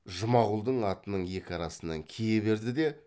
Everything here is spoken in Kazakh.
жұмағұлдың атының екі арасынан кие берді де